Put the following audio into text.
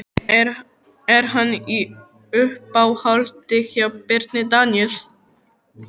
Er hann í uppáhaldi hjá Birni Daníel?